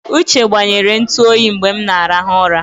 Uche gbanyere ntụ oyi mgbe m na-arahụ ụra.